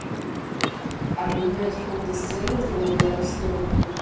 обменять фунты стерлинги на белорусские рубли